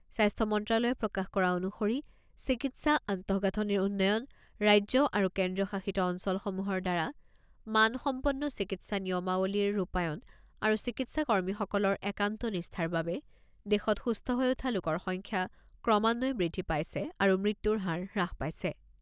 স্বাস্থ্য মন্ত্ৰালয়ে প্ৰকাশ কৰা অনুসৰি চিকিৎসা আন্তঃগাঁথনিৰ উন্নয়ন, ৰাজ্য আৰু কেন্দ্ৰীয়শাসিত অঞ্চলসমূহৰ দ্বাৰা মান সম্পন্ন চিকিৎসা নিয়মাৱলীৰ ৰূপায়ণ আৰু চিকিৎসা কৰ্মীসকলৰ একান্ত নিষ্ঠাৰ বাবে দেশত সুস্থ হৈ উঠা লোকৰ সংখ্যা ক্ৰমান্বয়ে বৃদ্ধি পাইছে আৰু মৃত্যুৰ হাৰ হ্ৰাস পাইছে।